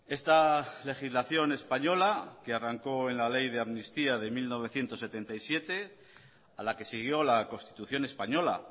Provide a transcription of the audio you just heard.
esta legislación española que arrancó en la ley de amnistía de mil novecientos setenta y siete a la que siguió la constitución española